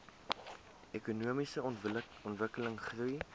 ekonomiese ontwikkeling goeie